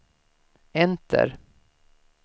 enter